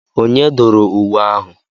Onye dụrụ nwe ahụ?